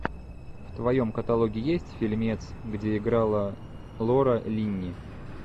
в твоем каталоге есть фильмец где играла лора линни